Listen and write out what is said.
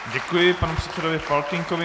Děkuji panu předsedovi Faltýnkovi.